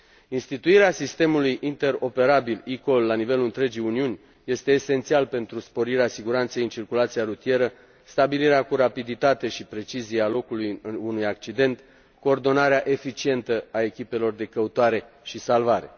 Instituirea sistemului interoperabil eCall, la nivelul întregii Uniuni, este esențială pentru sporirea siguranței în circulația rutieră, stabilirea cu rapiditate și precizie a locului unui accident, coordonarea eficientă a echipelor de căutare și salvare.